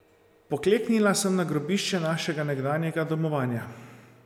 Pokleknila sem na grobišče našega nekdanjega domovanja.